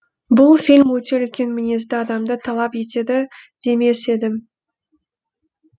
бұл фильм өте үлкен мінезді адамды талап етеді демес едім